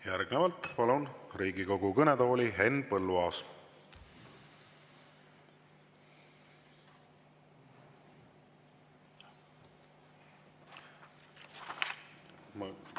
Järgnevalt palun Riigikogu kõnetooli, Henn Põlluaas!